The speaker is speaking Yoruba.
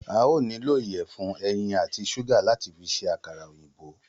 A óò nílò ìyẹ̀fun, ẹyin àti ṣúgà láti fi ṣe àkàrà òyìnbó